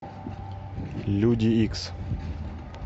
люди икс